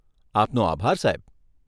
આપનો આભાર સાહેબ.